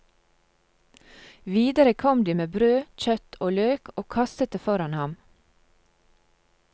Videre kom de med brød, kjøtt og løk, og kastet det foran ham.